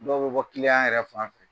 Dɔw bɛ bɔ yɛrɛ fan fɛ